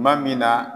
Tuma min na